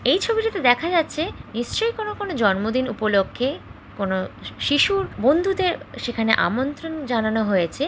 এই ছবিটাতে দেখা যাচ্ছে নিশ্চয়ই কোন কোন জন্মদিন উপলক্ষে কোন শিশুর বন্ধুদের সেখানে আমন্ত্রণ জানানো হয়েছে।